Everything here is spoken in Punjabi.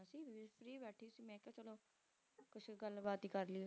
ਕੁਛ ਗੱਲਬਾਤ ਹੀ ਕਰ ਲਈਏ